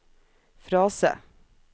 frase